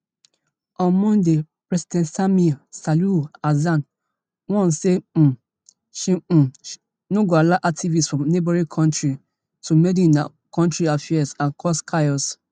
on monday president samia suluhu hassan warn say um she um no go allow activists from neighbouring kontri to meddle in her kontri affairs and cause chaos